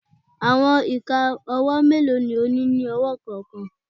Awọn ika ọwọ melo ni o ni ni ọwọ kọọkan?